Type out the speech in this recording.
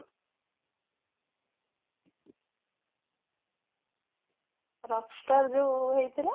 rockstar ଯୋଉ ହେଇଥିଲା